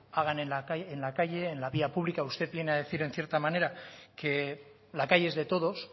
hagan en la calle en la vía pública usted viene a decir en cierta manera que la calle es de todos